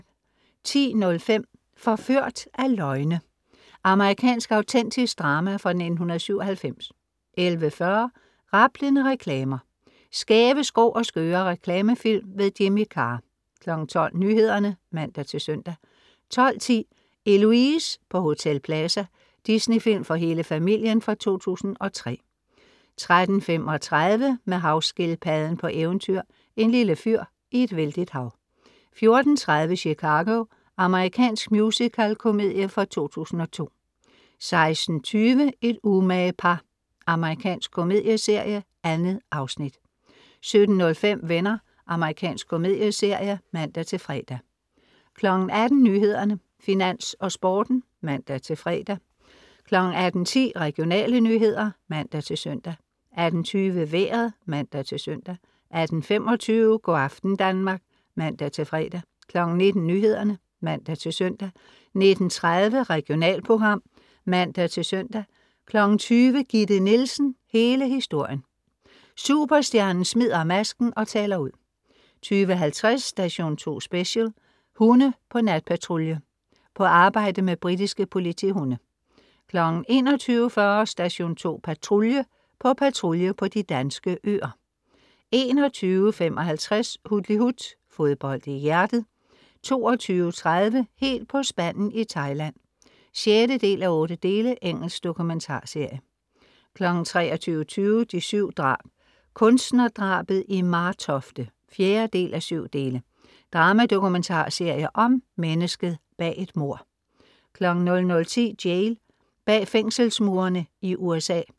10.05 Forført af løgne. Amerikansk autentisk drama fra 1997 11.40 Rablende reklamer. skæve, skrå og skøre reklamefilm. Jimmy Carr 12.00 Nyhederne (man-søn) 12.10 Eloise på Hotel Plaza. Disney-film for hele familien fra 2003 13.35 Med havskildpadden på eventyr, en lille fyr i et vældigt hav 14.30 Chicago. Amerikansk musical-komedie fra 2002 16.20 Et umage par. Amerikansk komedieserie. 2 afsnit 17.05 Venner. Amerikansk komedieserie (man-fre) 18.00 Nyhederne, Finans og Sporten (man-fre) 18.10 Regionale nyheder (man-søn) 18.20 Vejret (man-søn) 18.25 Go' aften Danmark (man-fre) 19.00 Nyhederne (man-søn) 19.30 Regionalprogram (man-søn) 20.00 Gitte Nielsen, hele historien. Superstjernen smider masken og taler ud 20.50 Station 2 Special: Hunde på natpatrulje. på arbejde med britiske politihunde 21.40 Station 2 Patrulje. på patrulje på de danske øer 21.55 Hutlihut. Fodbold i hjertet 22.30 Helt på spanden i Thailand. 6:8. Engelsk dokumentarserie 23.20 De 7 drab. Kunstnerdrabet i Martofte 4:7 drama-dokumentarserie om mennesket bag et mord 00.10 Jail. Bag fængselsmurene i USA